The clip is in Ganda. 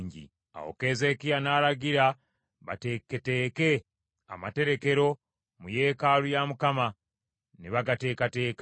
Awo Keezeekiya n’alagira bateeketeeke amaterekero mu yeekaalu ya Mukama , ne bagateekateeka.